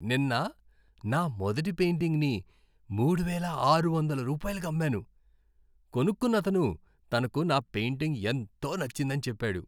నిన్న నా మొదటి పెయింటింగ్ని మూడు వేల ఆరువందల రూపాయిలకి అమ్మాను. కొనుక్కున్నతను తనకు నా పెయింటింగ్ ఎంతో నచ్చిందని చెప్పాడు!